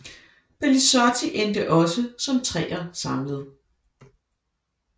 Pellizotti endte også som treer samlet